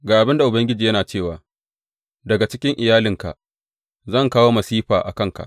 Ga abin da Ubangiji yana cewa, Daga cikin iyalinka zan kawo masifa a kanka.